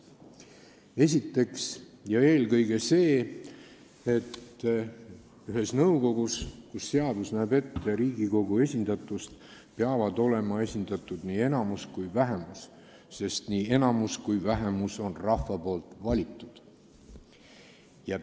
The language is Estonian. Esiteks ja eelkõige see, et ühes nõukogus, kus seadus näeb ette Riigikogu esindatust, peavad olema esindatud nii enamus kui ka vähemus, sest nii enamus kui ka vähemus on rahva valitud.